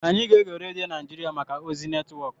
Anyị ga-ege redio Naijiria maka ozi netwọk.